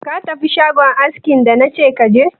Ka tafi shagon askin da nace ka je?